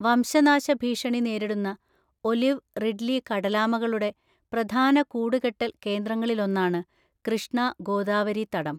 വംശനാശഭീഷണി നേരിടുന്ന olive ridley കടലാമകളുടെ പ്രധാന കൂടുകെട്ടൽ കേന്ദ്രങ്ങളിലൊന്നാണ് കൃഷ്ണ ഗോദാവരി തടം.